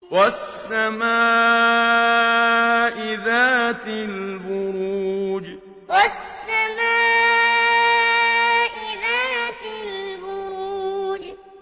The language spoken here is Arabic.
وَالسَّمَاءِ ذَاتِ الْبُرُوجِ وَالسَّمَاءِ ذَاتِ الْبُرُوجِ